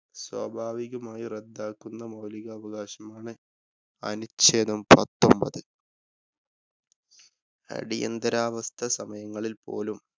സ്വാഭാവികമായി റദ്ദാക്കുന്ന മൌലികാവകാശങ്ങളെ അനുച്ഛേദം പത്തൊന്‍പത്. അടിയന്തിരാവസ്ഥ സമയങ്ങളില്‍ പോലും.